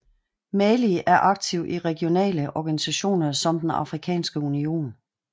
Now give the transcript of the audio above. Mali er aktiv i regionale organisationer som den Afrikanske Union